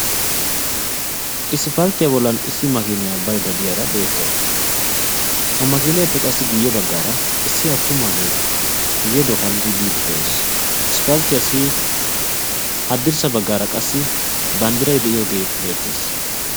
Isippalttiyaa bollan issi makiniyaa baydde diyaara beetawus; ha makineppe qasi guyye baggara issi attumaage I geeduwaa kaalidi biidi de'ees; isppalttiyaas haddirssa baggara qassi banddiray de'iyooge beettees